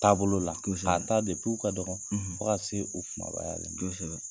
Taabolo la, kosɛbɛ, k'a ta u ka dɔgɔ, ,fo ka se o kumabayalen ma. kosɛbɛ.